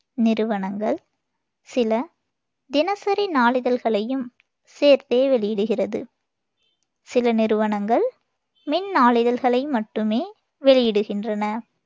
நிறுவனங்கள் சில தினசரி நாளிதழ்களையும் சேர்த்தே வெளியிடுகிறது. சில நிறுவனங்கள் மின் நாளிதழ்களை மட்டுமே வெளியிடுகின்றன